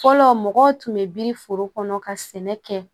Fɔlɔ mɔgɔw tun bɛ biri foro kɔnɔ ka sɛnɛ kɛ